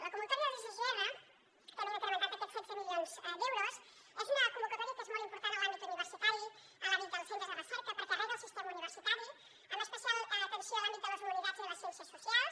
la convocatòria dels sgr que hi hem incrementat aquests setze milions d’euros és una convocatòria que és molt important en l’àmbit universitari en l’àmbit dels centres de recerca perquè rega el sistema universitari amb especial atenció a l’àmbit de les humanitats i les ciències socials